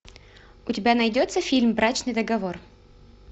у тебя найдется фильм брачный договор